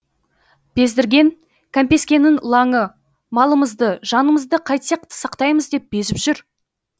бездірген кәмпескенің лаңы малымызды жанымызды қайтсек сақтаймыз деп безіп жүр